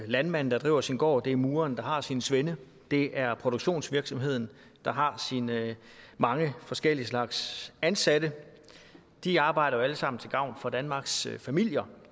landmanden der driver sin gård det er mureren der har sine svende det er produktionsvirksomheden der har sine mange forskellige slags ansatte de arbejder alle sammen til gavn for danmarks familier